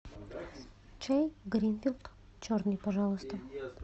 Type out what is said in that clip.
чай гринфилд черный пожалуйста